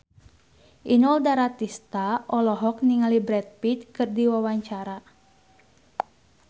Inul Daratista olohok ningali Brad Pitt keur diwawancara